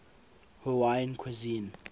hawaiian cuisine